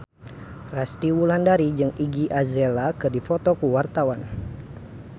Resty Wulandari jeung Iggy Azalea keur dipoto ku wartawan